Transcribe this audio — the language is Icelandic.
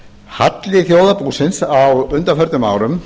halli þjóðarbúsins á undanförnum árum